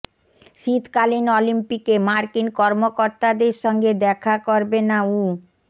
শীতকালীন অলিম্পিকে মার্কিন কর্মকর্তাদের সঙ্গে দেখা করবে না উ